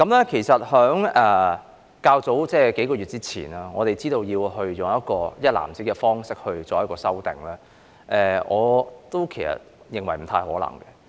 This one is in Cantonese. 在數個月前，我們得知要採用"一籃子"的方式作出修訂，我認為不太可能。